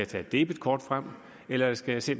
tage et debetkort frem eller skal jeg se